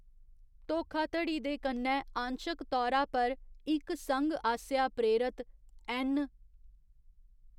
धोखाधड़ी दे कन्नै आंशक तौरा पर इक संघ आसेआ प्रेरत, ऐन्न.